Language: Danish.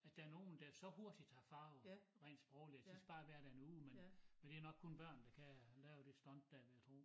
At der nogen der så hurtigt tager farve rent sprogligt de skal bare være der en uge men men det nok kun børn der kan lave det stunt dér vil jeg tro